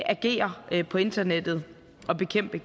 agere på internettet og bekæmpe